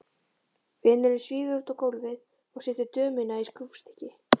Vinurinn svífur út á gólfið og setur dömuna í skrúfstykki.